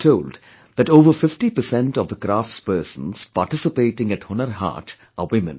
I am told that over 50 per cent of the crafts persons participating at Hunar Haat are women